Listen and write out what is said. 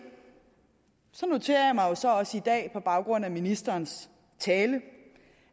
noterede mig også også i dag på baggrund af ministerens tale